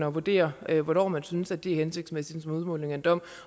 at vurdere hvornår man synes at det er hensigtsmæssigt som udmåling af en dom